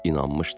İnanmışdı.